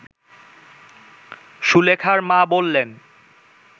সুলেখার মা বললেন